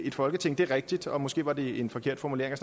et folketing det er rigtigt og måske var det en forkert formulering at